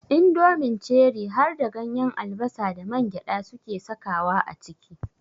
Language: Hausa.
Indomin Ceri harda ganyen albasa da mangyaɗa suke sakawa a ciki.